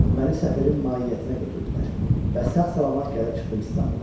Məni səfirin mahiyyətinə götürdülər və sağ-salamat gəlib çıxdım İstanbula.